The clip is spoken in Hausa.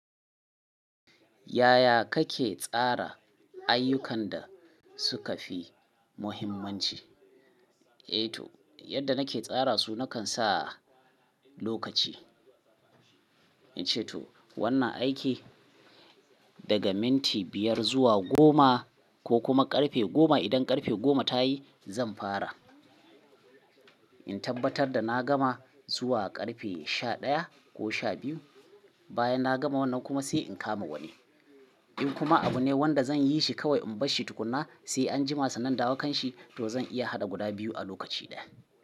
Yaya kake tsara ayyukan da suka fi muhimmanci? Yadda nake tsara su, nakan sa lokaci. Wannan aiki daga minti biyar zuwa goma ko kuma ƙarfe goma. Idan ƙarfe goma ta yi, zan fara. In tabbatar da na gama zuwa ƙarfe sha ɗaya ko sha biyu, bayan na gama wannan kuma sai in kama wani. In kuma abu ne wanda zan yi shi kawai in bashi tukuna, sai anjima sannan indawo kan shi, to zan iya haɗa guda biyu a lokaci ɗaya.